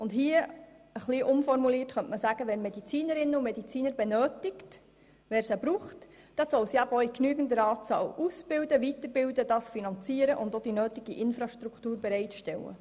Und ein bisschen umformuliert könnte man hier sagen, wer Medizinerinnen und Mediziner benötigt, der soll sie auch in genügender Anzahl aus- und weiterbilden, dies finanzieren und auch die nötige Infrastruktur bereitstellen.